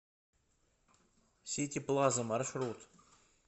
сити плаза маршрут